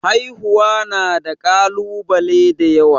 Haihuwa na da kalubale da yawa.